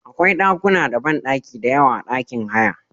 Akwa ɗakuna da banɗaki diyawa a ɗakin haya.